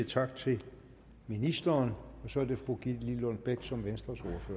tak til ministeren så er det fru gitte lillelund bech som venstres